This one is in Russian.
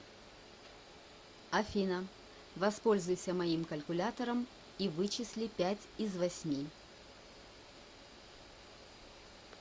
афина воспользуйся моим калькуляторам и вычисли пять из восьми